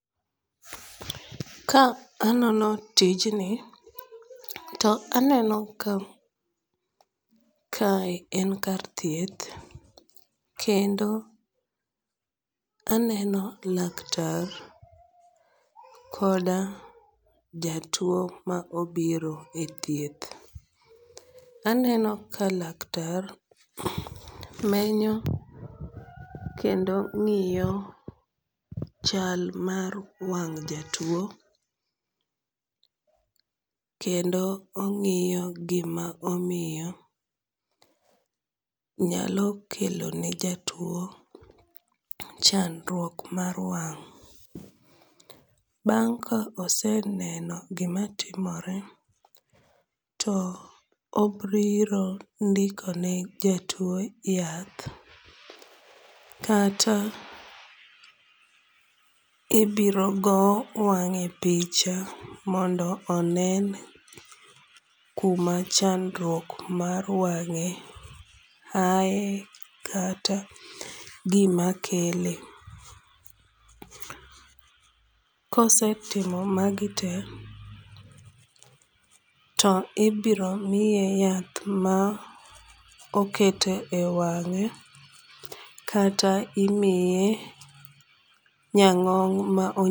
Ka anono tijni, to aneno ka kae en kar thieth kendo aneno laktar koda jatuwo ma obiro e thieth. Aneno ka laktar menyo kendo ng'iyo chal mar wang' jatuwo kendo ong'iyo gima omiyo nyalo kelone jatuwo chandruok mar wang',bang' ka oseneno gimatimore to obiro ndikone jatuwo yath kata ibiro go wang'e picha mondo onen kuma chandruok mar wang'e aye kata gimakele. kosetimo magi te, to ibiro miye yath ma oketo e wang'e kata imiye nyang'ong' ma